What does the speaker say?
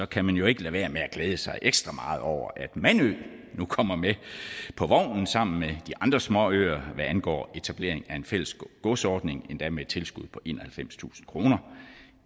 kan man jo ikke lade være med at glæde sig ekstra meget over at mandø nu kommer med på vognen sammen med de andre småøer hvad angår etablering af en fælles godsordning endda med et tilskud på enoghalvfemstusind kroner